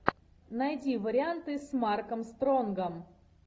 найди варианты с марком стронгом